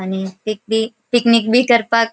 आनी पिकपिक पिकनिक बी करपाक --